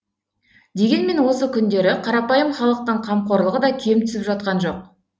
дегенмен осы күндері қарапайым халықтың қамқорлығы да кем түсіп жатқан жоқ